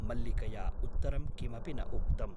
मल्लिकया उत्तरं किमपि न उक्तम् ।